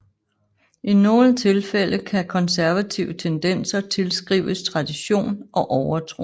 I nogle tilfælde kan konservative tendenser tilskrives tradition og overtro